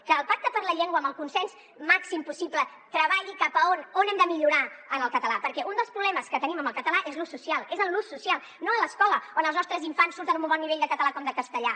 que el pacte per la llengua amb el consens màxim possible treballi cap a on hem de millorar en el català perquè un dels problemes que tenim amb el català és l’ús social és en l’ús social no a l’escola on els nostres infants surten amb un bon nivell de català com de castellà